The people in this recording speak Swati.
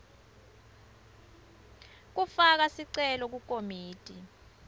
kufaka sicelo kukomiti